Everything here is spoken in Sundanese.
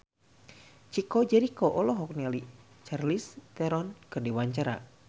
Chico Jericho olohok ningali Charlize Theron keur diwawancara